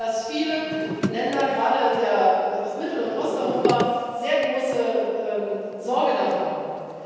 Ich spüre, dass viele Länder, gerade aus Mittel und Osteuropa, sehr große Sorge davor haben.